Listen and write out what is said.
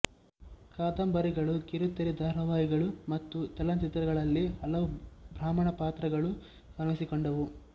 ಕಾದಂಬರಿಗಳು ಕಿರುತೆರೆ ಧಾರಾವಾಹಿಗಳು ಮತ್ತು ಚಲನಚಿತ್ರಗಳಲ್ಲಿ ಹಲವು ಬ್ರಾಹ್ಮಣ ಪಾತ್ರಗಳು ಕಾಣಿಸಿಕೊಂಡವು